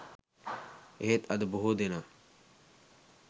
එහෙත් අද බොහෝ දෙනා